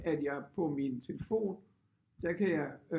At jeg på min telefon der kan jeg